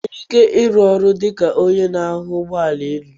I nwere ike ịrụ ọrụ dị ka onye na akwo ụgbọ élú?